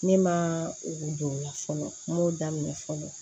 Ne ma o don o la fɔlɔ n m'o daminɛ fɔlɔ